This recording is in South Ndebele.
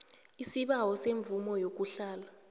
isibawo semvumo yokuhlala